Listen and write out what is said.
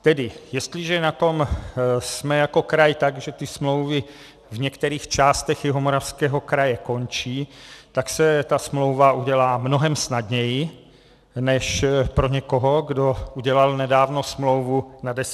Tedy jestliže na tom jsme jako kraj tak, že ty smlouvy v některých částech Jihomoravského kraje končí, tak se ta smlouva udělá mnohem snadněji než pro někoho, kdo udělal nedávno smlouvu na deset let.